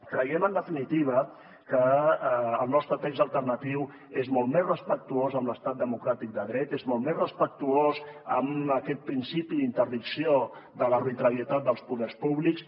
creiem en definitiva que el nostre text alternatiu és molt més respectuós amb l’estat democràtic de dret és molt més respectuós amb aquest principi d’interdicció de l’arbitrarietat dels poders públics